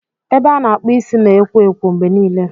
Ebe a na-akpụ isi na ekwo ekwo mgbe niile.